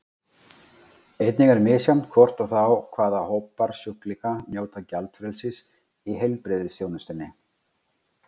Einnig er misjafnt hvort og þá hvaða hópar sjúklinga njóta gjaldfrelsis í heilbrigðisþjónustunni.